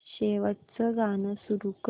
शेवटचं गाणं सुरू कर